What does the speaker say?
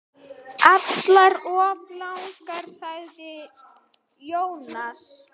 Allar of langar, sagði Jónas.